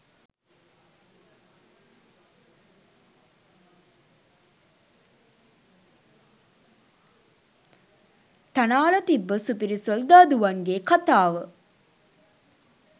තනාල තිබ්බ සුපිරි සොල්දාදුවන්ගෙ කතාව